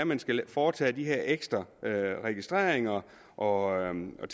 man skal foretage de her ekstra registreringer og andet